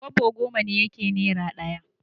Kwabo goma ne yake naira ɗaya.